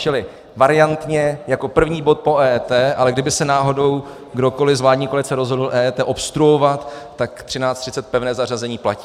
Čili variantně jako první bod po EET, ale kdyby se náhodou kdokoli z vládní koalice rozhodl EET obstruovat, tak 13.30 pevné zařazení platí.